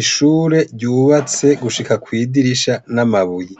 Ishure ryubatse gushika kwidirisha n'amabuye.